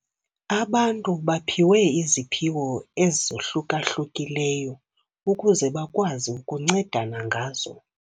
Abantu baphiwe iziphiwo ezahluka-hlukileyo ukuze bakwazi ukuncedana ngazo.